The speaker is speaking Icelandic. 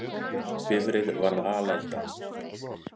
Bifreið varð alelda